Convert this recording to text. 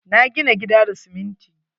Na gina gida da siminti.